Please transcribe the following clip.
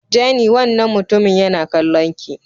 Jenny wannan mutumin yana kallon ki.